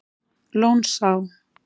Lónsá